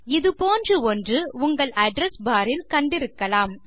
இது போன்ற ஒன்று உங்கள் அட்ரெஸ் பார் இல் கண்டிருக்கலாம்